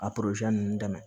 A ninnu dɛmɛ